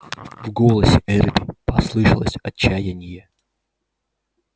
в голосе эрби послышалось отчаяние